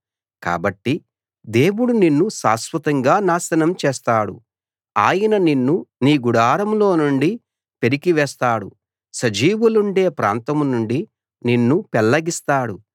కాబట్టి దేవుడు నిన్ను శాశ్వతంగా నాశనం చేస్తాడు ఆయన నిన్ను నీ గుడారంలో నుండి పెరికి వేస్తాడు సజీవులుండే ప్రాంతం నుండి నిన్ను పెల్లగిస్తాడు